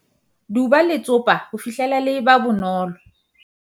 duba letsopa ho fihlela le eba bonolo